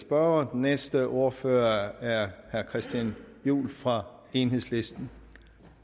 spørgere den næste ordfører er herre christian juhl fra enhedslisten